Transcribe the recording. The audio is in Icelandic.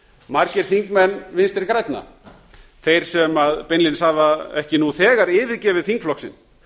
margir þingmenn vinstri grænan þeir sem beinlínis hafa ekki nú þegar yfirgefið þingflokk sinn